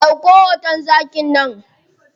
Ɗauko hoton zakin nan.